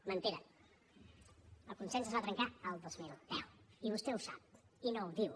mentida el consens es va trencar el dos mil deu i vostè ho sap i no ho diu